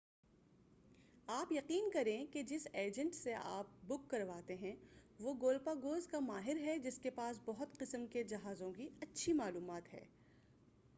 آپ یقین کریں کہ جس ایجنٹ سے آپ بک کرواتے ہیں وہ گولپاگوز کا ماہر ہے جس کے پاس بہت قسم کے جہازوں کی اچھی معلومات ہے